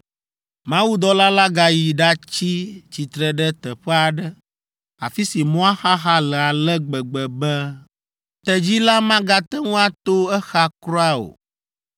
Mawudɔla la gayi ɖatsi tsitre ɖe teƒe aɖe, afi si mɔa xaxa le ale gbegbe be tedzi la magate ŋu ato exa kura o.